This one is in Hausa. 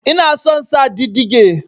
Ina son sa didige